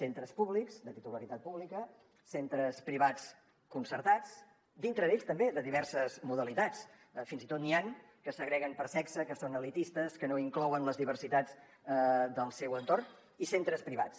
centres públics de titularitat pública centres privats concertats dintre d’ells també de diverses modalitats fins i tot n’hi han que segreguen per sexe que són elitistes que no inclouen les diversitats del seu entorn i centres privats